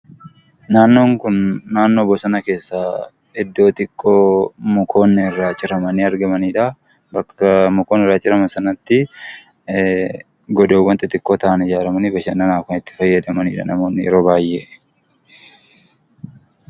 Naannoon kun naannoo bosona keessaa iddoo xiqqoo mukoonni irraa ciramanii argamaniidha. Bakka mukti irraa cirame sanatti, godoowwaan xixxiqqoo ta'an ijaaramanii bashannanaaf kan itti fayyadamaniidha namoonni yeroo baay'ee.